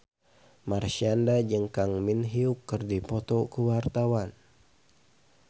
Marshanda jeung Kang Min Hyuk keur dipoto ku wartawan